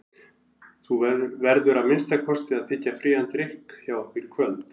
Þú verður að minnsta kosti að þiggja frían drykk hjá okkur í kvöld.